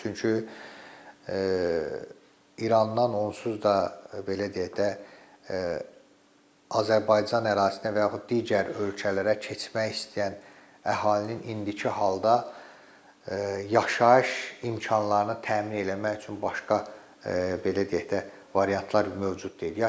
Çünki İrandan onsuz da belə deyək də, Azərbaycan ərazisinə və yaxud digər ölkələrə keçmək istəyən əhalinin indiki halda yaşayış imkanlarını təmin eləmək üçün başqa belə deyək də, variantlar mövcud deyil.